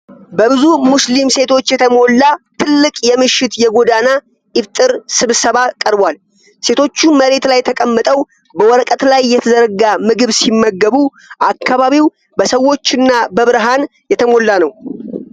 በብዙ ሙስሊም ሴቶች የተሞላ ትልቅ የምሽት የጎዳና ኢፍጣር ስብሰባ ቀርቧል። ሴቶቹ መሬት ላይ ተቀምጠው በወረቀት ላይ የተዘረጋ ምግብ ሲመገቡ፣ አካባቢው በሰዎችና በብርሃን የተሞላ ነው።